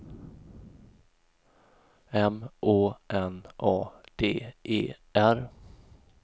M Å N A D E R